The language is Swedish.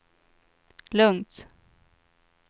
lugnt